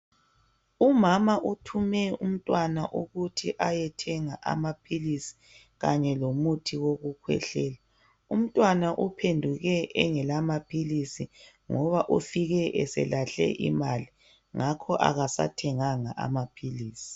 Umama uthume umntwana ukuthi ayethenga amaphilisi kanye lomuthi wokukhwehlela. Umntwana uphenduke engela maphilisi ngoba ufike eselahle imali ngakho akasawathenganga.